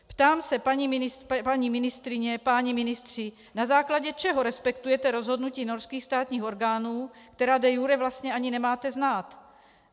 Ptám se, paní ministryně, páni ministři, na základě čeho respektujete rozhodnutí norských státních orgánů, která de iure vlastně ani nemáte znát?